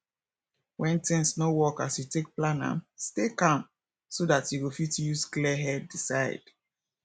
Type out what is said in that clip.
when things no work as you take plan am stay calm so dat you go fit use clear head decide